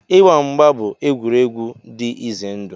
Ịgba mgba bụ egwuregwu dị ize ndụ.